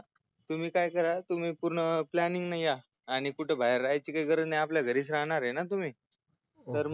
तुम्ही काय करा तुम्ही पूर्ण planning या आणि कुठे बाहेर राहयाची गरज नाही आपल्या घरीच रहाणारय ना तुम्ही तर मग